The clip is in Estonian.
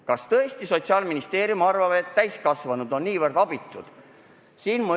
Kas tõesti Sotsiaalministeerium arvab, et täiskasvanud on nii abitud?